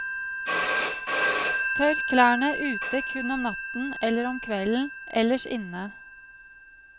Tørk klærne ute kun om natten eller omkvelden, ellers inne.